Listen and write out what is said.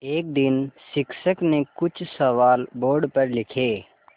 एक दिन शिक्षक ने कुछ सवाल बोर्ड पर लिखे